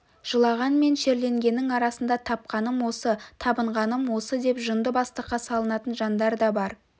жылаған мен шерленгеннің арасында тапқаным осы табынғаным осы деп жынды бастыққа салынатын жандар да бар